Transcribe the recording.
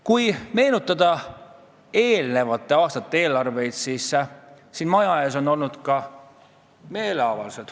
Kui meenutada eelmiste aastate eelarvete koostamist, siis siin maja ees on ka meeleavaldusi peetud.